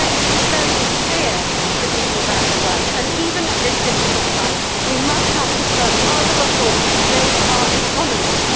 So let us be very clear to people about their rights, and even at this difficult time we must not postpone other reforms to build our economies.